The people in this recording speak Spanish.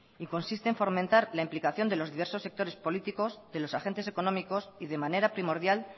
y consiste en fomentar la implicación de los diversos sectores políticos de los agentes económicos y de manera primordial